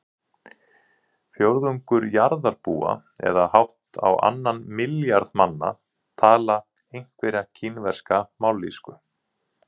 Fjórðungur jarðarbúa eða hátt á annan milljarð manna tala einhverja kínverska mállýsku.